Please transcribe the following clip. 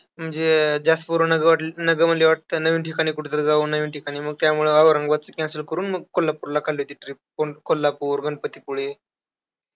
म्हणजे ज्यास्त पोरांना जोड ना त्यांना वाटलं, नवीन ठिकाणी कुठंतरी जाऊ, नवीन ठिकाणी. मग त्यामुळे औरंगाबादचं cancel करून मग कोल्हापूरला काढली होती trip को कोल्हापूर गणपतीपुळे.